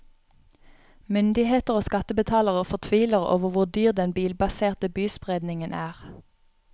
Myndigheter og skattebetalere fortviler over hvor dyr den bilbaserte byspredningen er.